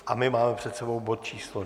A my máme před sebou bod číslo